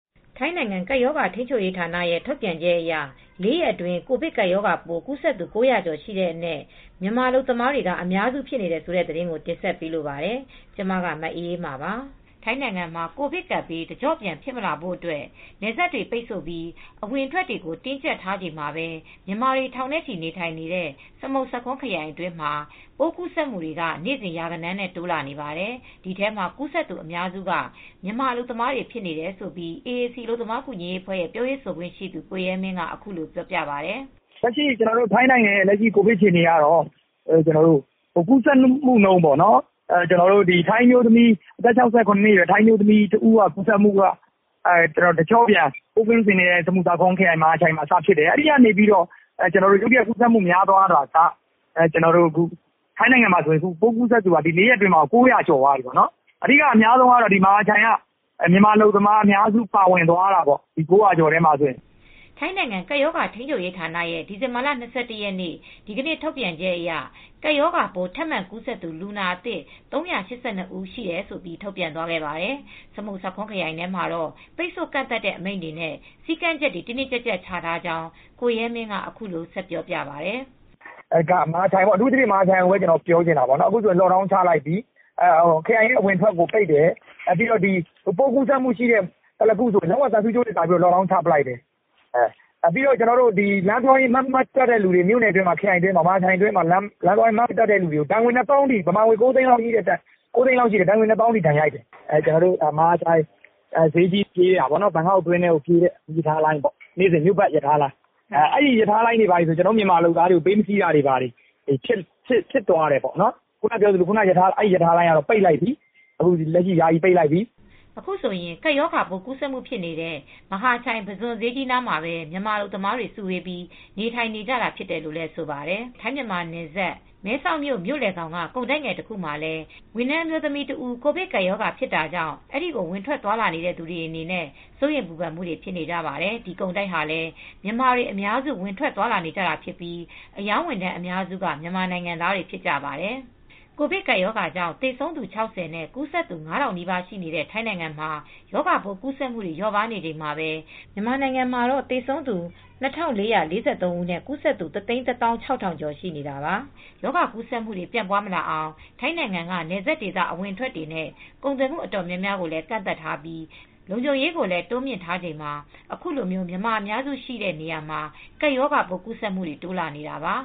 ထိုင်းနိုင်ငံကပ်ရောဂါ ထိန်းချုပ်ရေးဌာနရဲ့ ထုတ်ပြန်ချက်အရ ၄ ရက်အတွင်း ကိုဗစ်ကပ်ပိုးကူးစက်သူ ၉၀၀ ကျော်ရှိတဲ့အနက် မြန်မာအလုပ်သမားတွေက အများစုဖြစ်နေတယ်ဆိုတဲ့သတင်းကို တင်ဆက်ပေးလိုပါတယ်။ ဗွီအိုအေမြန်မာပိုင်း သတင်းထောက် မအေးအေးမာက ထိုင်းမြန်မာနယ်စပ်ကနေ သတင်းပေးပို့ထားပါတယ်။ ထိုင်းနိုင်ငံမှာ ကိုဗစ်ကပ်ဘေးတကျော့ပြန် ဖြစ်မလာဖို့အတွက် နယ်စပ်တွေ ပိတ်ဆို့ပြီး အဝင်အထွက်တွေကို တင်းကြပ်နေချိန်မှာပဲ မြန်မာတွေ ထောင်နဲ့ချီနေထိုင်နေတဲ့ စမုတ်ဆာခွန်းခရိုင်အတွင်းမှာ ပိုးကူးစက်တွေက နေစဉ်ရာဂဏန်းနဲ့ တိုးလာနေပါတယ်။ ဒီထဲမှာကူးစက်သူ အများစုက မြန်မာအလုပ်သမားတွေ ဖြစ်နေတယ်လို့ AAC အလုပ်သမားကူညီရေးအဖွဲ့က ပြောရေးဆိုခွင့်ရှိသူ ကိုရဲမင်းက အခုလိုပြောပါတယ်။ "လက်ရှိထိုင်းနိုင်ငံရဲ့ ကိုဗစ်အခြေအနေကတော့ ကူးစက်မှုနှုန်း အသက် ၆၇ အရွယ်ထိုင်းအမျိုးသမီးကြီး တဦးကနေ စတင်ကူးစက်ပြီးတော့ တကျော့ပြန် စမုတ်ဆာခွန်းခရိုင်မဟာချိုင်မှာ စဖြစ်တယ်။ အခု ဆိုရင် ၄ ရက်အတွင်းမှာဆိုရင် ကူးစက်သူက လူ ၉၀၀ ကျော်သွားပြီ။ အဲဒီထဲမှာ မြန်မာအလုပ်သမားတွေက အများဆုံး ကူးစက်တာပေါ့... ၉၀၀ ကျော်ထဲမှာပေါ့။" ထိုင်းနိုင်ငံ ကပ်ရောဂါ ထိန်းချုပ်ရေး ဌာနရဲ့ ဒီဇင်ဘာလ ၂၁ ရက် ဒီကနေ့ထုတ်ပြန်ချက်အရ ကပ်ရောဂါပိုး ထပ်မံကူးစက်သူ လူနာ ၃၈၂ ဦး ရှိတယ်လို့ ထုတ်ပြန်ခဲ့ပါတယ်။ စမုတ်ဆာခွန်းခရိုင်ထဲမှာတော့ ပိတ်ဆို့ကန့်သတ်တဲ့အမိန့်တွေနဲ့ စည်းကမ်းချက်တွေ တင်းတင်းကြပ်ကြပ်ချထားကြောင်း ကိုရဲမင်းက အခုလိုဆက်ပြောပြပါတယ် "မဟာချိုင်ကိုပြောချင်တာက အခုဆို ပိုးကူးစက်မှု ရှိတဲ့သလာကွန်း ကို သံဆူးကြိုးတွေကာပြီး lock down ချလိုက်တယ်။ လမ်းသွားရင် မြို့နယ်ခရိုင်အတွင်းမှာ Mask မတပ်တဲ့သူတွေကို ဒဏ်ငွေ ဘတ်ငွေ ၂၀,၀၀၀ လောက်ထိ ဒဏ်ငွေရိုက်တယ်။ မြန်မာငွေ ၉၀၀,၀၀၀ လောက်ထိရှိတယ်။ ဈေးထိပြေးတာပေါ့နော်... ဘန်ကောက်အတွင်းထဲကို ပြေးတဲ့မီးရထားလိုင်းပေါ့... နေ့စဉ်မြို့ပတ်ရထားလိုင်း။ အဲဒီရထားလိုင်းတွေဘာတွေဆို ကျနော်တို့ မြန်မာလုပ်သားတွေကို ပေးမစီးတော့တာတွေ ဖြစ်သွားတယ်။ အဲဒီရထားလိုင်းကတော့ လက်ရှိ ယာယီပိတ်လိုက်ပြီ။" အခုဆိုရင် ကပ်ရောဂါပိုး ကူးစက်မှုဖြစ်တဲ့ မဟာချိုင်ပုဇွန်ဈေးကြီးနားမှာပဲ မြန်မာအလုပ်သမားတွေ စုဝေးပြီး နေထိုင်နေကြတာဖြစ်တယ်လို့လည်း ဆိုပါတယ်။ ထိုင်းမြန်မာနယ်စပ် မဲဆောက်မြို့လယ်ခေါင်က ကုန်တိုက်ငယ်တခုမှာလည်း ဝန်ထမ်းမြန်မာအမျိုးသမီးတဦး ကိုဗစ်ကပ်ရောဂါဖြစ်တာကြောင့် အဲဒီကို ဝင်ထွက်သွားလာနေတဲ့သူတွေအနေနဲ့ စိုးရိမ်ပူပန်မှုတွေ ဖြစ်နေကြပါတယ်။ ဒီကုန်တိုက်ဟာလည်း မြန်မာတွေ အများစုဝင်ထွက်သွားလာနေတာဖြစ်ပြီး အရောင်းဝန်ထမ်းအများစုက မြန်မာနိုင်ငံသားတွေဖြစ်ကြပါတယ်။ ကိုဗစ်ကပ်ရောဂါကြောင့် သေဆုံးသူ ၆၀ နဲ့ ကူးစက်သူ ၅,၀၀၀ နီးပါး ရှိတဲ့ ထိုင်းနိုင်ငံမှာ ရောဂါပိုးကူးစက်မှုတွေ လျော့ပါးနေချိန်မှာပဲ မြန်မာနိုင်ငံမှာတော့ သေဆုံးသူ ၂,၄၄၃ ဦးနဲ့ ကူးစက်သူ ၁၁,၆၀၀၀ ကျော် ရှိနေတာပါ။ ရောဂါကူးစက်မှုတွေ ပြန့်ပွားမလာအောင် ထိုင်းနိုင်ငံက နယ်စပ်ဒေသ အဝင်အထွက်တွေနဲ့ ကုန်သွယ်မှုတွေ တော်တော်များများကိုလည်း ကန့်သတ်ထားပြီး လုံခြုံရေးကိုလည်း တိုးမြှင့်ထားချိန်မှာ အခုလို မြန်မာအများစုရှိတဲ့နေရာမှာ ကပ်ရောဂါပိုးကူးစက်မှုတွေ တိုးလာနေတာပါ